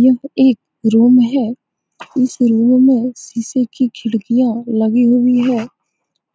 यह एक रूम है इस रूम में शीशे की खिड़कियाँ लगी हुई हैं